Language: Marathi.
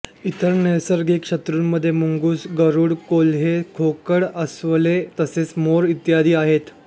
इतर नैसर्गिक शत्रूंमध्ये मुंगूस गरुड कोल्हे खोकड अस्वले तसेच मोर इत्यादी आहेत